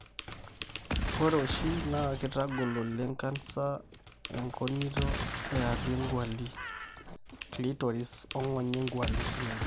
ore oshi oleng na kitadiak canser engonito eatua engwali, clitoris ongonyo e ngwali.